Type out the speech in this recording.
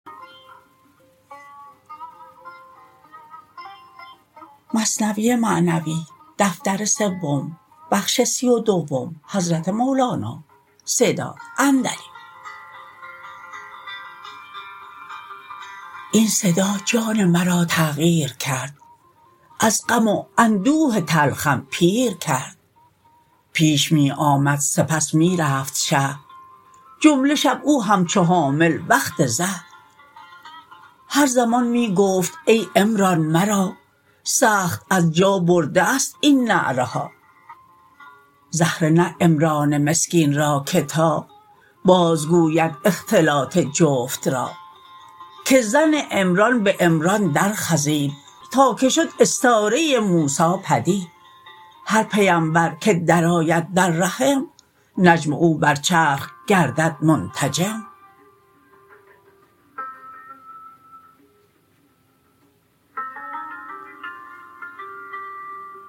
این صدا جان مرا تغییر کرد از غم و اندوه تلخم پیر کرد پیش می آمد سپس می رفت شه جمله شب او همچو حامل وقت زه هر زمان می گفت ای عمران مرا سخت از جا برده است این نعره ها زهره نه عمران مسکین را که تا باز گوید اختلاط جفت را که زن عمران به عمران در خزید تا که شد استاره موسی پدید هر پیمبر که در آید در رحم نجم او بر چرخ گردد منتجم